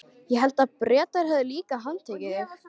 Ég hélt að Bretar hefðu líka handtekið þig?